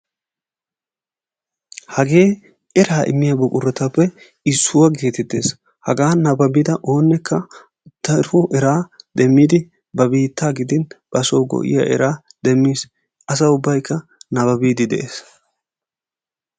Hagee eraa immiya buquratuppe issuwa geetettees. Hagaa nabbabida oonekka daro eraa demmidi ba biittaa gidin basoo go'iya eraa demmiis. Asa ubbaykka nabbabiiddi de'ees.